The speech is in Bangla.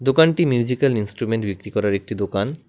দোকানটি মিউজিক্যাল ইনসট্রুমেন্ট বিক্রি করার একটি দোকান।